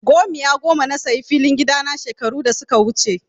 Gomiya goma na sayi filin gida na shekaru da suka wuce.